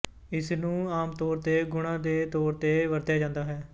ਇਸ ਨੂੰ ਆਮ ਤੌਰ ਤੇ ਗੁਣਾ ਦੇ ਤੌਰ ਤੇ ਵਰਤਿਆ ਜਾਂਦਾ ਹੈ